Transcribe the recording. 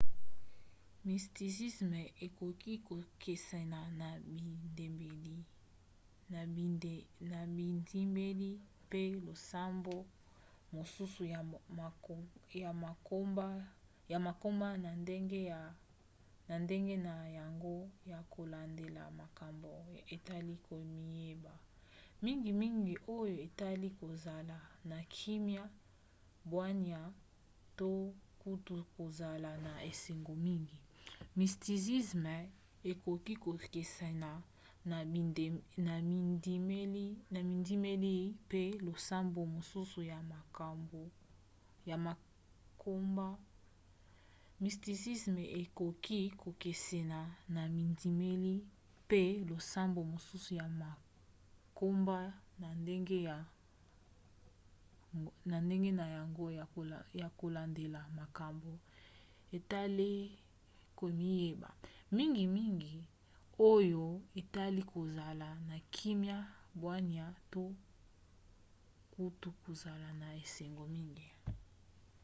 mysticisme ekoki kokesena na bindimeli mpe losambo mosusu ya mangomba na ndenge na yango ya kolandela makambo etali komiyeba mingimingi oyo etali kozala na kimia bwania to kutu kozala na esengo mingi